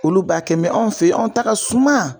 Olu b'a kɛ anw fɛ yen an ta ka suma.